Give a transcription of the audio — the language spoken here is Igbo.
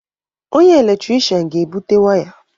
Onye eletrishian ga-ebute waya.